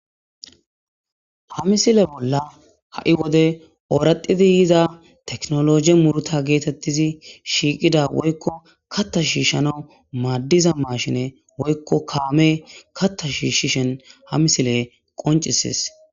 Ha misile bolla ha' wode ooradidi yiza teknologi murta geetettizi shiiqida woykko katta shiishshano maaddiza maashine woykko kaame katta shiishishen ha misile qoncisis.